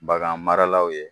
Bagan maralaw ye